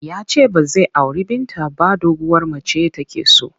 Ya ce ba zai auri Binta ba doguwar mace take so.